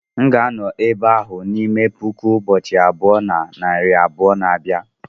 m ga-anọ n'ebe ahụ n'ime puku ụbọchị abụọ na narị abụọ na abia